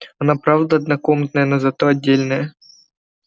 она правда однокомнатная но зато отдельная